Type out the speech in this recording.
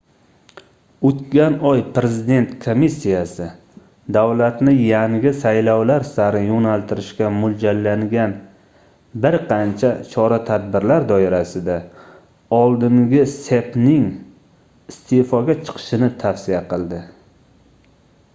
oʻtgan oy prezident komissiyasi davlatni yangi saylovlar sari yoʻnaltirishga moʻljallangan bir qancha chora-tadbirlar doirasida oldingi cepning isteʼfoga chiqishini tavsiya qildi